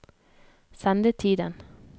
sendetiden